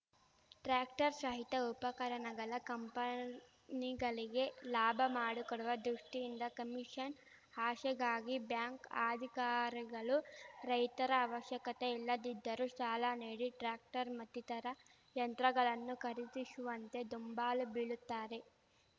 tractor ಸಹಿತ ಉಪಕರಣಗಳ ಕಂಪನಿಗಲಿಗೆ ಲಾಭ ಮಾಡಿಕೊಡುವ ದೃಷ್ಟಿಯಿಂದ ಕಮಿಷನ್‌ ಆಶೆಗಾಗಿ ಬ್ಯಾಂಕ್‌ ಅಧಿಕಾರಿಗಳು ರೈತರಿಗೆ ಅವಶ್ಯಕತೆ ಇಲ್ಲದಿದ್ದರೂ ಸಾಲ ನೀಡಿ ಟ್ರ್ಯಾಕ್ಟರ್‌ ಮತ್ತಿತರ ಯಂತ್ರಗಳನ್ನು ಖರೀದಿಶುವಂತೆ ದುಂಬಾಲು ಬೀಳುತ್ತಾರೆ